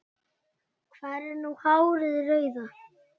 Hvar er nú hárið rauða?